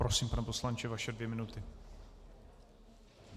Prosím, pane poslanče, vaše dvě minuty.